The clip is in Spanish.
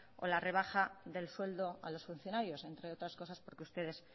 o la rebaja del sueldo a los funcionarios entre otras cosas porque ustedes